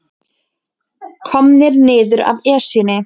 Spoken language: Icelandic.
Komnir niður af Esjunni